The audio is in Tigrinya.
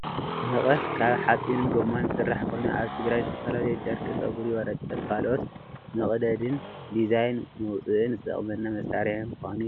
መቀስ ካብ ሓፂንን ጎማን ዝስራሕ ኮይኑ ኣብ ትግራይ ንዝተፈላለዩ ጨርቅ፣ ፀጉሪ፣ ወረቀት፣ ካልኦትን መቅደዲን ዲዛይን መውፅኢን ዝጠቅመና መሳሪሒ ምኳኑ ይፍለጥ።